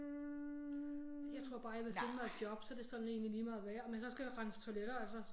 Jeg tror bare jeg ville finde mig et job så det sådan egentlig ligemeget hvad om jeg så skal rense toiletter altså